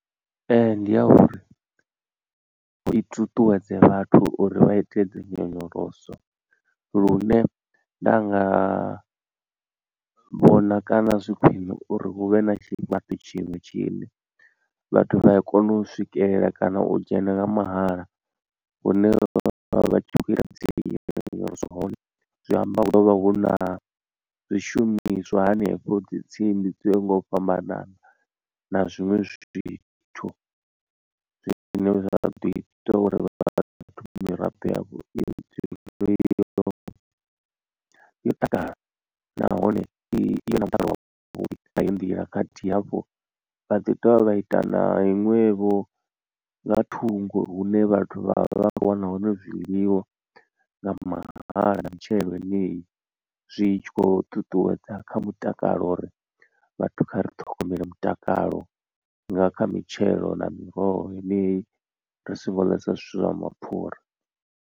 Ndi ya uri hu i ṱuṱuwedze vhathu uri vha ite dzinyonyoloso lune nda nga vhona kana zwi khwine uri hu vhe na tshifhaṱo tshiṅwe tshine vhathu vhaya kona u swikelela kana u dzhena nga mahala hune vha vha tshi kho ita dzinyonyoloso hone. Zwi amba huḓo vha hu na zwishumiswa hanefho dzi tsimbi dzo yaho nga u fhambanana na zwiṅwe zwithu. Zwine zwa ḓo ita uri vhathu miraḓo yavho yo yo i dzule yo takala nahone i na mutakalo nga heyi nḓila khathihi hafho vha ḓi dovha vha ita na iṅwevho nga thungo hune vhathu vha vha khou wana hone zwiḽiwa nga mahala na mitshelo yeneyi zwi tshi khou ṱuṱuwedza kha mutakalo uri vhathu kha ri ṱhogomele mutakalo nga kha mitshelo na miroho yeneyi ri singo ḽesa zwithu zwa mapfura.